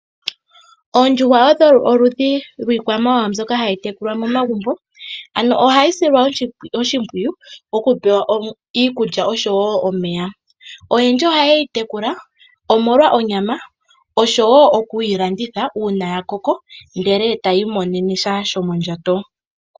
Oondjuhwa odho oludhi dhiikwamawawa mbyoka hayi tekulwa momagumbo, ano ohayi silwa oshimpwiyu okupewa iikulya, osho wo omeya. Oyendji ohaye yi tekula omolwa onyama osho wo oku yi landitha uuna ya koko, ndele taya imonene sha shomondjato.